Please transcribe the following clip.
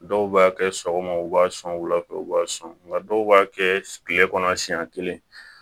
Dɔw b'a kɛ sɔgɔma u b'a sɔn wula fɛ u b'a sɔn nka dɔw b'a kɛ kile kɔnɔ siɲɛ kelen